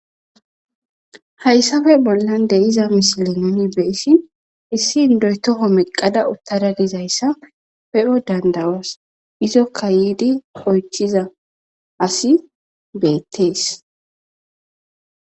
Hayssafe bollan deiza misile nooni beessin issi ndoytoho meqada uttara dizayssa pe7o dandawas izokka yiidi oychiza asi beettees.